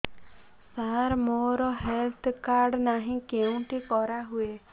ସାର ମୋର health card ନାହିଁ କେଉଁଠି କରା ହୁଏ